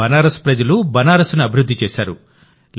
బనారస్ ప్రజలు బనారస్ ను అభివృద్ధి చేశారు